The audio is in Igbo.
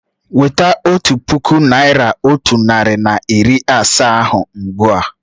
Weta otu puku naị́ra otu narị na iri asaa ahụ ugbu a!